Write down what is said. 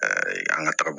an ka ta